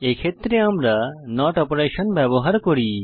এক্ষেত্রে আমরা NOT operation ব্যবহার করি